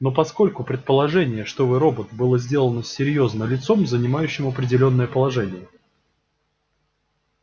но поскольку предположение что вы робот было сделано серьёзно лицом занимающим определённое положение